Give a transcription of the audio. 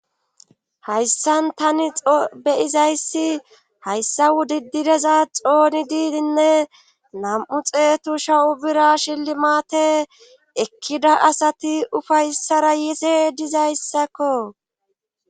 hayssan tani xobeyizayssi hayssa wudidireza xoonididinne nam7u xeetu shawu bira shillimaate ekkida asati ufayssara yize dizayssakko